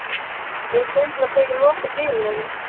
Mig sundlar þegar ég loka dyrunum.